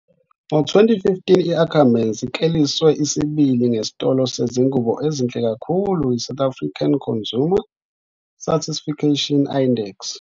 Ngo-2015 i-Ackermans ikleliswe isibili ngesitolo sezingubo ezinhle kakhulu yiSouth African Consumer Satisfaction Index.